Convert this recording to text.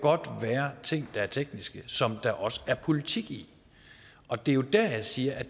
være ting der er tekniske som der også er politik i og det er jo der jeg siger at